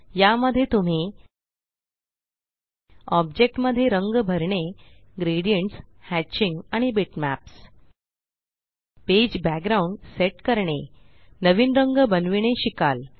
या मध्ये तुम्ही ऑब्जेक्ट मध्ये रंग भरणे ग्रेडियंट्स हॅचिंग आणि बिटमॅप्स पेज बॅकग्राउंड सेट करणे नवीन रंग बनविणे शिकाल